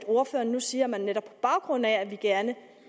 ordføreren nu siger at man netop på baggrund af at vi gerne